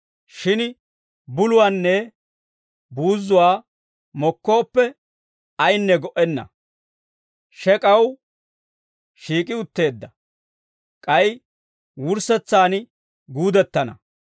Shin buluwaanne buuzzuwaa mokkooppe, ayinne go"enna; shek'aw shiik'i utteedda. K'ay wurssetsaan guudettana.